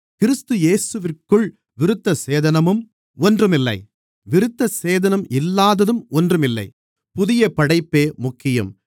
கிறிஸ்து இயேசுவிற்குள் விருத்தசேதனமும் ஒன்றுமில்லை விருத்தசேதனம் இல்லாததும் ஒன்றுமில்லை புதிய படைப்பே முக்கியம்